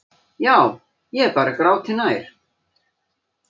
Já, ég er bara gráti nær.